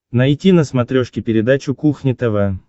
найти на смотрешке передачу кухня тв